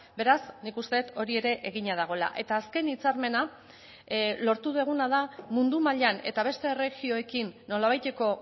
beraz nik uste dut hori ere egina dagoela eta azken hitzarmena lortu duguna da mundu mailan eta beste erregioekin nolabaiteko